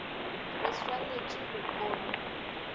re swanet e go omi